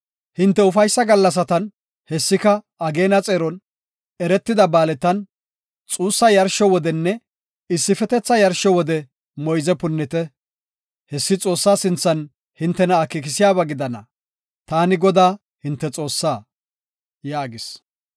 Hinte ufaysa gallasatan hessika ageena xeeron, eretida ba7aaletan, xuussa yarsho wodeninne issifetetha yarsho wode moyze punnite. Hessi Xoossaa sinthan hintena akeekisiyaba gidana. Taani Godaa, hinte Xoossaa” yaagis.